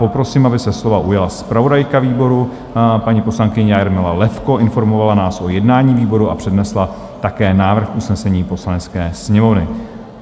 Poprosím, aby se slova ujala zpravodajka výboru paní poslankyně Jarmila Levko, informovala nás o jednání výboru a přednesla také návrh usnesení Poslanecké sněmovny.